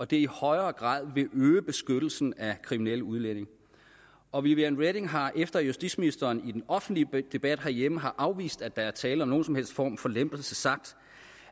det i højere grad vil øge beskyttelsen af kriminelle udlændinge og viviane reding har efter at justitsministeren i den offentlige debat herhjemme har afvist at der er tale om nogen som helst form for lempelse sagt